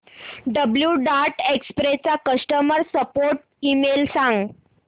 blue Dart Express चा customer support email सांग